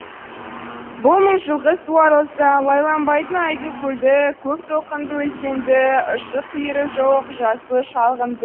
бұл мың жылқы суарылса лайланбайтын айдын көлді көк толқынды өзенді ұшы қиыры жоқ жасыл шалғынды